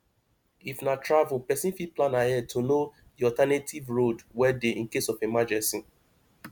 if na travel person fit plan ahead to know di alternative road wey dey in case of emergency